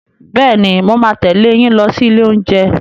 Bẹ́ẹ̀ni, mo máa tẹ̀lé yín lọ sí ilé oúnjẹ.